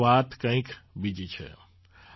પરંતુ વાત કંઈક બીજી છે